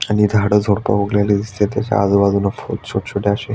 आणि झाड झुडप वुगलेली दिसतायत त्याच्या आजुबाजुला खुप छोटछोट असे --